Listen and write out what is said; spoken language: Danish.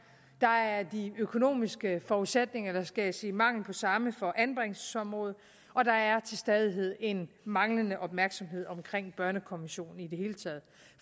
der er de økonomiske forudsætninger eller skal jeg sige mangel på samme for anbringelsesområdet og der er til stadighed en manglende opmærksomhed omkring børnekommissionen i det hele taget